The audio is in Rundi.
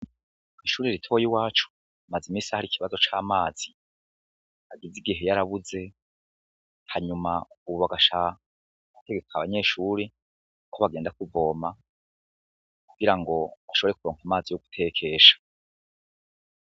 Kw'ishuri ritoye i wacu, maze imisahari ikibazo c'amazi agize igihe yoarabuze hanyuma ububagasha utegeka abanyeshuri, kuko bagenda kuvoma kugira ngo nushobre kuronka amazi yo gutekesha.